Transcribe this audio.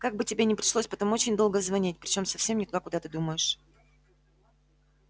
как бы тебе не пришлось потом очень долго звонить причём совсем не туда куда ты думаешь